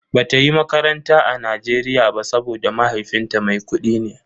Bata yi makaranta a Nigeria ba saboda mahaifinta mai kudi ne.